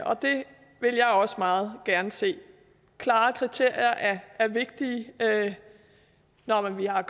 og det vil jeg også meget gerne se klare kriterier er vigtige når vi har